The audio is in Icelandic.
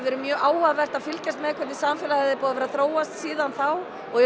verið mjög áhugavert að fylgjast með hvernig samfélagið er búið að þróast síðan þá og